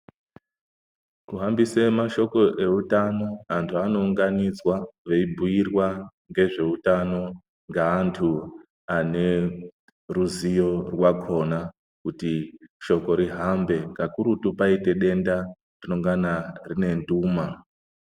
Kuhambise mashoko eutano anhu anounganidzwa veibhuirwa ngezveutano ngeantu aneruzivo rwakhona kuti shoko ruhambe kakurutu kwaite denda runongana rune nduma.